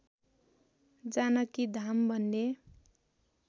जानकी धाम भन्ने